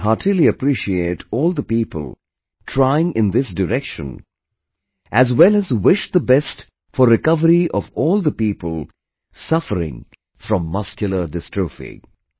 I heartily appreciate all the people trying in this direction, as well as wish the best for recovery of all the people suffering from Muscular Dystrophy